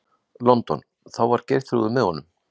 London, þá var Geirþrúður með honum.